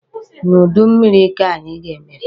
N'udu mmịrị ka anyị ga-emepe.